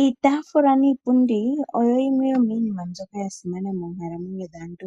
Iitafula niipundi oyo yimwe yominima mbyoka yasimana moonkalamwenyo dhaantu.